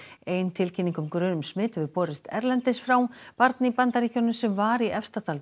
ein tilkynning um grun um smit hefur borist erlendis frá barn í Bandaríkjunum sem var í Efstadal